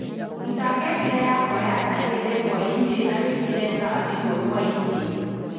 ruta ngengere yakwa ya thaa igiri hwaini na wikire thaa imwe hwaini